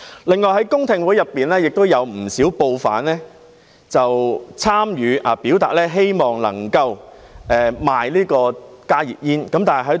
另外，公聽會有不少報販參與，表達希望能夠售賣加熱煙。